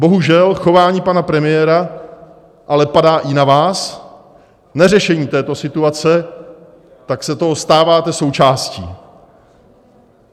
Bohužel chování pana premiéra ale padá i na vás, neřešení této situace, tak se toho stáváte součástí.